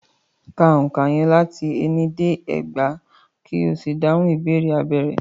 Ka òǹkà yẹn láti ení dé ẹgbàá, ko sì dáhùn ìbéèrè abẹ́ rẹ̀.